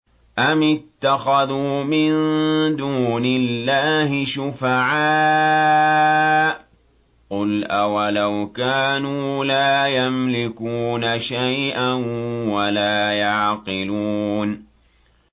أَمِ اتَّخَذُوا مِن دُونِ اللَّهِ شُفَعَاءَ ۚ قُلْ أَوَلَوْ كَانُوا لَا يَمْلِكُونَ شَيْئًا وَلَا يَعْقِلُونَ